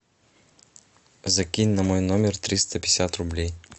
закинь на мой номер триста пятьдесят рублей